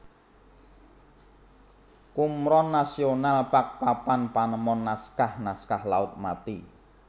Qumran National Park Papan panemon Naskah naskah Laut Mati